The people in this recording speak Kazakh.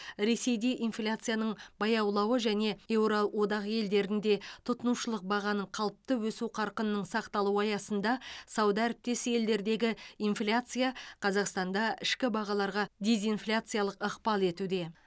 ресейде инфляцияның баяулауы және еуроодақ елдерінде тұтынушылық бағаның қалыпты өсу қарқынының сақталуы аясында сауда әріптес елдердегі инфляция қазақстанда ішкі бағаларға дезинфляциялық ықпал етуде